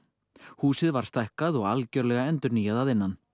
húsið var stækkað og algjörlega endurnýjað að innan